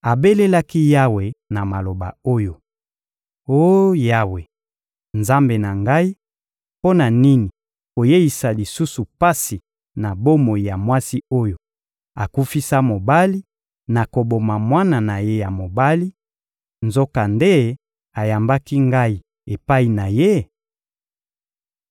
abelelaki Yawe na maloba oyo: — Oh Yawe, Nzambe na ngai, mpo na nini koyeisa lisusu pasi na bomoi ya mwasi oyo akufisa mobali, na koboma mwana na ye ya mobali; nzokande ayambaki ngai epai na ye?